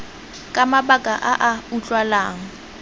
ka mabaka a a utlwalang